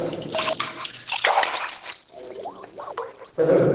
Foi um prazer